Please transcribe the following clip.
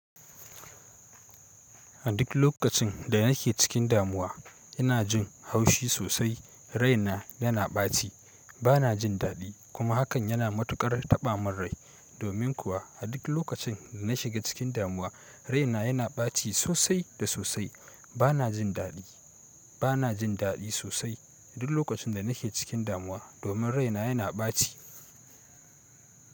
A duk lokacin da nake cikin damuwa, ina jin haushi sosai, raina yana ɓaci, bana jin daɗi kuma hakan yana matuƙar taɓa min rai. Domin kuwa a duk lokacin da na shiga cikin damuwa, raina yana ɓaci sosai da sosai. Bana jin daɗi, bana jin daɗi sosai duk lokacin da nake cikin damuwa domin raina yana ɓaci.